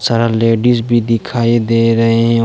सारा लेडिस भी दिखाई दे रहे है।